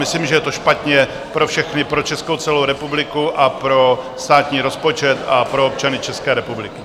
Myslím, že je to špatně pro všechny, pro celou Českou republiku a pro státní rozpočet a pro občany České republiky.